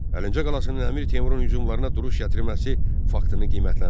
Əlincə qalasının Əmir Teymurun hücumlarına duruş gətirməsi faktını qiymətləndir.